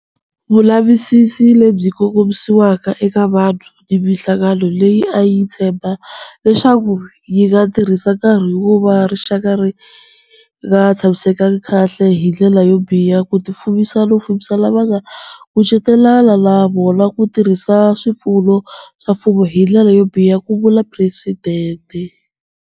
Vulavisisi lebyi kongomisiwe eka vanhu ni mihlangano leyi a yi tshemba leswaku yi nga tirhisa nkarhi wo va rixaka ri nga tshamisekanga kahle hi ndlela yo biha ku tifumisa no fumisa lava va nga kucetelana na vona ku tirhisa swipfuno swa mfumo hi ndlela yo biha, ku vula Presidente.